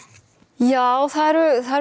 já það eru